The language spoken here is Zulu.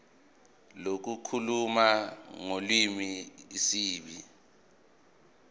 lokukhuluma ngolimi isib